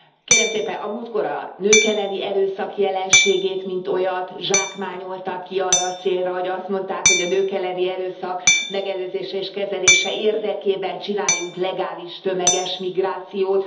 Kérem szépen, a múltkor a nők elleni erőszak jelenségét mint olyat, zsákmányolták ki arra a célra, hogy azt mondták, hogy a nők elleni erőszak megelőzése és kezelése érdekében csináljunk legális, tömeges migrációt.